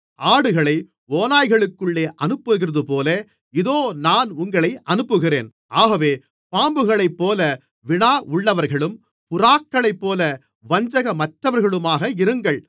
ஆடுகளை ஓநாய்களுக்குள்ளே அனுப்புகிறதுபோல இதோ நான் உங்களை அனுப்புகிறேன் ஆகவே பாம்புகளைப்போல வினாவுள்ளவர்களும் புறாக்களைப்போல வஞ்சகமற்றவர்களுமாக இருங்கள்